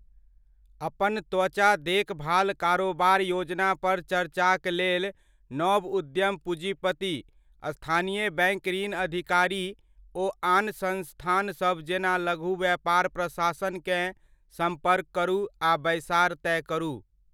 अपन त्वचा देखभाल कारोबार योजना पर चर्चाक लेल नव उद्यम पूजीपति, स्थानीय बैङ्क ऋण अधिकारी ओ आन संस्थान सब जेना लघु व्यापार प्रशासनकेँ सम्पर्क करू आ बैसार तय करू।